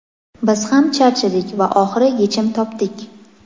Biz ham charchadik va oxiri yechim topdik!.